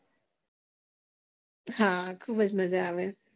હા ખુબજ મજા આવે